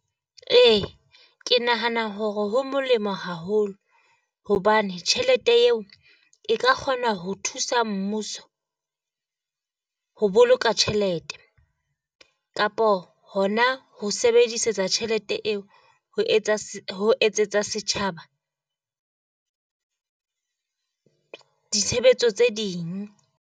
Ee ke nahana hore ho molemo haholo hobane tjhelete eo e ka kgona ho thusa mmuso ho boloka tjhelete. Kapo hona ho sebedisetsa tjhelete eo ho etsa ho etsetsa setjhaba ditshebetso tse ding.